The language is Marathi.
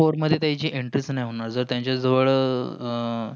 four मध्ये entry चा होणार नाही. जर त्याचा जवळ आह